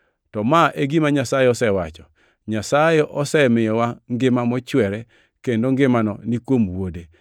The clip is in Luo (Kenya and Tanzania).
To ma e gima Nyasaye osewacho: Nyasaye osemiyowa ngima mochwere kendo ngimano ni kuom wuode.